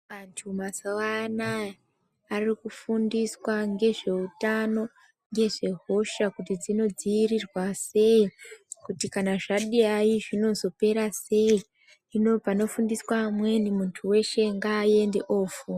Antu mazuva anaya ari kufundiswa ngezve utano ngezve hosha kuti dzino dzivirirwa sei kuti kana zvadai zvinozo pera sei hino pano fundiswa amweni muntu weshe nga ende ofunda.